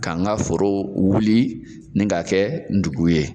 K'an ka forow wuli ni ka kɛ dugu ye.